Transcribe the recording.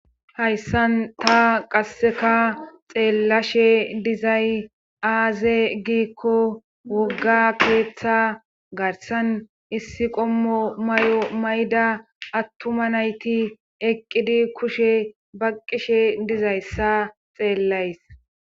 hayssan ta qasseka xeellashe dizay aaze giikko wogga keeththa garsan issi qommo may7o mayda attuma nayti eqqidi kushe baqqishe dizayssa xeellays